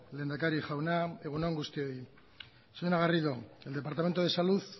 lehendakari jauna egun on guztioi señora garrido el departamento de salud